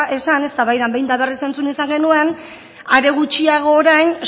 esan eztabaidan behin eta berriz entzun izan genuen are gutxiago orain